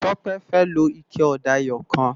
Tope fè ló iké òdá èyòkán